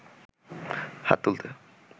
হাত তুলতে